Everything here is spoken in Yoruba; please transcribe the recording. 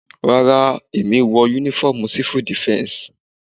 Rárá, èmi wọ uniform civil defense.